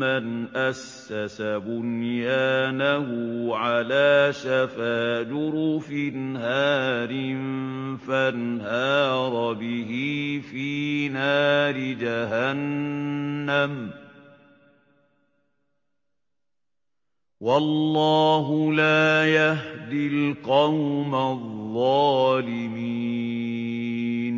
مَّنْ أَسَّسَ بُنْيَانَهُ عَلَىٰ شَفَا جُرُفٍ هَارٍ فَانْهَارَ بِهِ فِي نَارِ جَهَنَّمَ ۗ وَاللَّهُ لَا يَهْدِي الْقَوْمَ الظَّالِمِينَ